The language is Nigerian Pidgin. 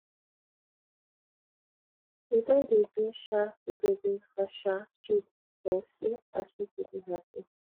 we don dey do um give away for um street o see as pipu dey hapi